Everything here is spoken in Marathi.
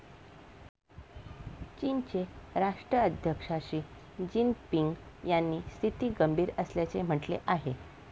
चीनचे राष्ट्राध्यक्ष शी जिनपिंग यांनी स्थिती गंभीर असल्याचे म्हटले आहे.